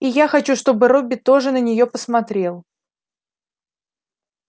и я хочу чтобы робби тоже на нее посмотрел